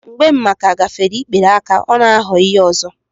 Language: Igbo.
Mgbe mmaaka gafere n'ikpere aka, ọ na-aghọ ihe ọzọ.